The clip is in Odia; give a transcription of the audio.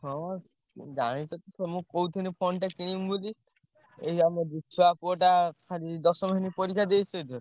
ହଁ ଜାଣିଚ ତ ତମକୁ କହୁଥେନି phone ଟେ କିଣିବି ବୋଲି। ଏଇ ଆମ ବିଛୁଆ ପୁଅଟା ଖାଲି ଦଶମ ଶ୍ରେଣୀ ପରୀକ୍ଷା ଦେଇଛି ଅଇଖା।